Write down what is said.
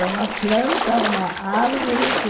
É uma planta, uma árvore que